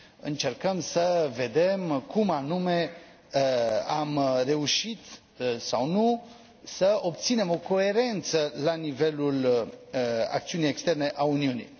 încercăm să vedem cum anume am reușit sau nu să obținem o coerență la nivelul acțiunii externe a Uniunii.